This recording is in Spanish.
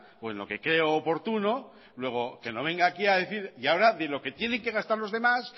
o en lo que creo oportuno luego que no venga aquí a decir y ahora de lo que tiene que gastar los demás